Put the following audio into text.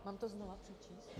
Mám to znova přečíst?